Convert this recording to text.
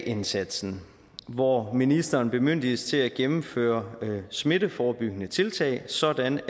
indsatsen hvor ministeren bemyndiges til at gennemføre smitteforebyggende tiltag sådan